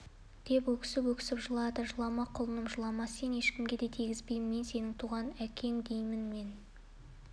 деп өксіп-өксіп жылады жылама құлыным жылама сені ешкімге де тигізбеймін мен сенің туған әкең деймін мен